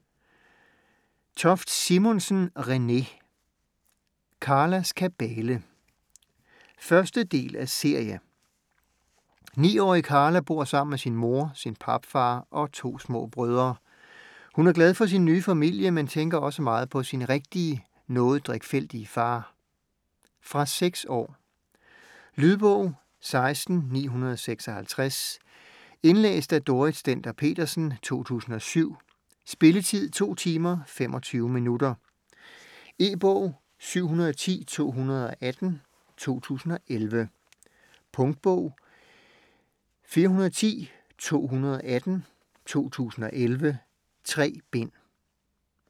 Toft Simonsen, Renée: Karlas kabale 1. del af serie. 9-årige Karla bor sammen med sin mor, sin papfar og to små brødre. Hun er glad for sin nye familie, men tænker også meget på sin rigtige, noget drikfældige far. Fra 6 år. Lydbog 16956 Indlæst af Dorrit Stender-Petersen, 2007. Spilletid: 2 timer, 25 minutter. E-bog 710218 2011. Punktbog 410218 2011. 3 bind.